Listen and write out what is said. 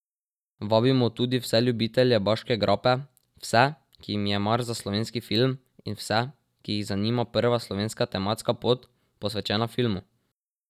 Vabimo tudi vse ljubitelje Baške grape, vse, ki jim je mar za slovenski film, in vse, ki jih zanima prva slovenska tematska pot, posvečena filmu.